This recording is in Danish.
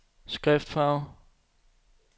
skriftfarve